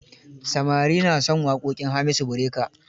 Samari na son waƙoƙin Hamisu Breaker.